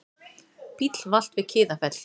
Bíll valt við Kiðafell